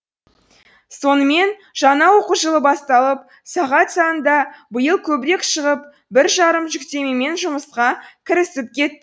сонымен жаңа оқу жылы басталып сағат саны да биыл көбірек шығып бір жарым жүктемемен жұмысқа кірісіп кет